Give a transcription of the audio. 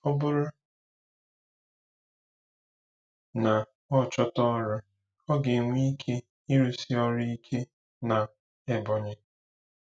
Ọ bụrụ na ọ chọta ọrụ, ọ ga-enwe ike ịrụsi ọrụ ike na Ebonyi.